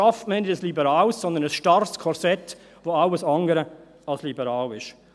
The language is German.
Damit schafft man nicht ein liberales, sondern ein starres Korsett, das alles andere als liberal ist.